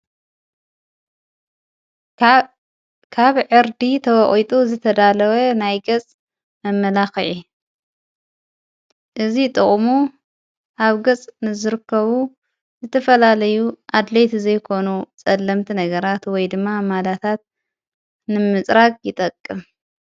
ካብ ዕርዲ ተብዐጡ ዝተዳለወ ናይ ገጽ መመላኽዒ እዙ ጥቕሙ ሃብ ገጽ ንዘርከቡ ዘተፈላለዩ ኣድለይት ዘይኮኑ ጸለምቲ ነገራ ትወይ ድማ ማላታት ንምጽራቅ ይጠቅም።